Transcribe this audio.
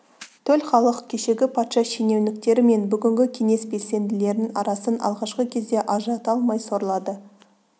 төл халық кешегі патша шенеуніктері мен бүгінгі кеңес белсенділерінің арасын алғашқы кезде ажырата алмай сорлады